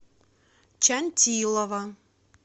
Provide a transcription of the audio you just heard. чантилова